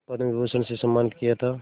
पद्म विभूषण से सम्मानित किया था